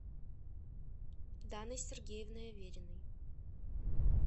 даной сергеевной авериной